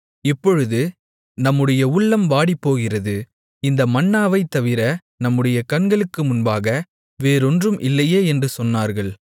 இப்பொழுது நம்முடைய உள்ளம் வாடிப்போகிறது இந்த மன்னாவைத் தவிர நம்முடைய கண்களுக்கு முன்பாக வேறொன்றும் இல்லையே என்று சொன்னார்கள்